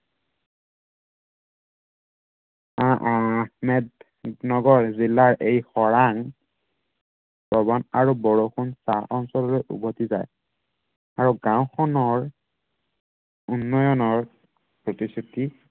আহ আহমেদ নগৰ জিলাৰ এই খৰাঙ প্ৰবণ আৰু বৰষুণ পৰা অঞ্চললৈ উভটি যায়। আৰু গাওঁখনৰ উন্নয়নৰ প্ৰতিশ্ৰুতি